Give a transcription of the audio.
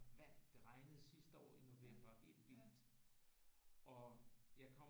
Vand det regnede sidste år i november helt vildt og jeg